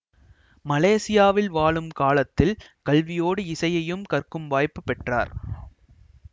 மலேசியாவில் வாழும் காலத்தில் கல்வியோடு இசையையும் கற்கும் வாய்ப்புப் பெற்றார்